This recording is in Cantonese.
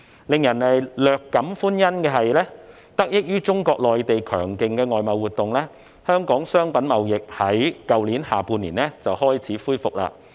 令人略感歡欣的是，得益於內地強勁的外貿活動，香港商品貿易在去年下半年已開始恢復。